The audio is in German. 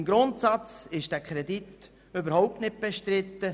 Im Grundsatz ist dieser Kredit überhaupt nicht bestritten.